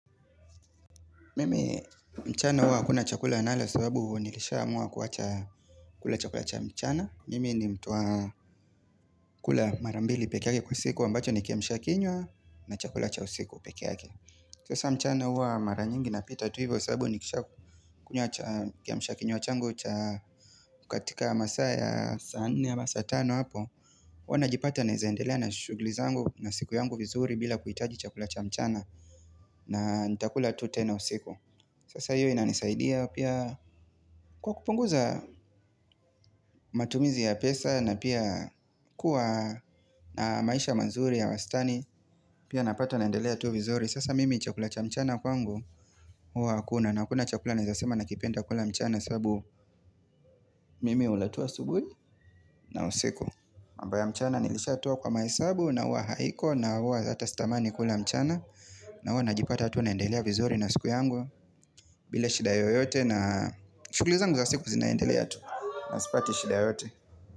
Mimi mchana hua hakuna chakula nala sababu nilishaamua kuwacha kula chakula cha mchana Mimi ni mtu wa kula marambili pekee yake kwa siku ambacho ni kiamisha kinywa na chakula cha usiku pekee yake Sasa mchana huwa mara nyingi napita tu hivyo sababu nikisha kiamisha kinywa changu katika masa ya saa nne ya masa tano hapo huwa najipata naeza endelea na shuguli zangu na siku yangu vizuri bila kuitaji chakula cha mchana na nitakula tu tena usiku Sasa hiyo inanisaidia pia kwa kupunguza matumizi ya pesa na pia kuwa na maisha manzuri ya wastani Pia napata naendelea tu vizuri Sasa mimi chakula cha mchana kwangu huwa hakuna na hakuna chakula naezasema nakipenda kula mchana sababu mimi hula tu asubuhi na usiku mambo ya mchana nilishatoa kwa mahesabu na huwa haiko na huwa hata sitamani kula mchana na huwa najipata tu naendelea vizuri na siku yangu bila shida yoyote na shughuli zangu za siku zinaendelea tu na sipati shida yote.